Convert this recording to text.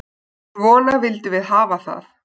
Svona vildum við hafa það.